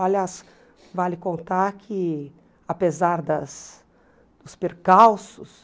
Aliás, vale contar que, apesar das dos percalços,